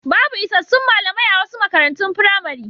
Babu isassun malamai a wasu makarantun firamare.